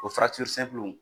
O